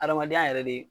Adamadenya yɛrɛ de